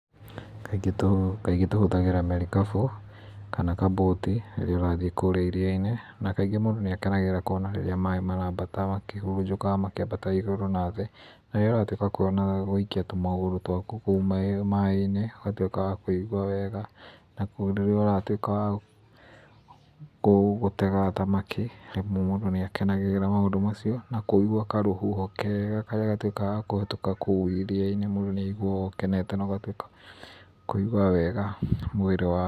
Kaingĩ tũ, kaingĩ tũhũthagĩra merikabu, kana kabũti rĩrĩa ũrathiĩ kũrĩa iria-inĩ, na kaingĩ mũndũ nĩakenagĩrĩra kũona rĩrĩa maaĩ maraambata makĩhurunjũkaga, makĩambataga igũrũ na thĩ, na rĩrĩa ũratuĩka wa kũona, ũgaikia tũmagũrũ twaku kũu maaĩ maaĩ-inĩ, ũgatuĩka wa kũigua wega na, rĩrĩa watuĩka wa, kũu, gũtega thamaki, mũndũ nĩakenagĩrĩra maũndũ macio, nakũigwa karũhuho kega karĩa gatuĩka ga kũhĩtũka kũu iria-inĩ mũndũ nĩ aiguaga ũkenete na ugatuĩka, wa kũigwa wega mwĩrĩ waku.